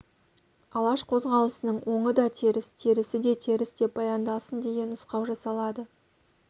алаш қозғалысының оңы да теріс терісі де теріс деп баяндалсын деген нұсқау жасалады